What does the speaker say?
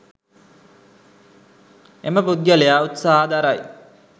එම පුද්ගලයා උත්සාහ දරයි